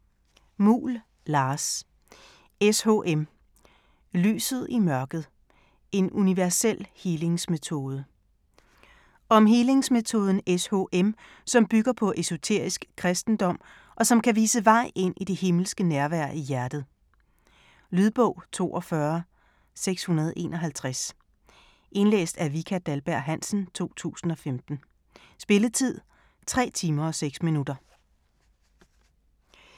Muhl, Lars: SHM - lyset i mørket: en universel healingsmetode Om healingsmetoden SHM, som bygger på esoterisk kristendom, og som kan vise vej ind i det himmelske nærvær i hjertet. Lydbog 42651 Indlæst af Vika Dahlberg-Hansen, 2015. Spilletid: 3 timer, 6 minutter.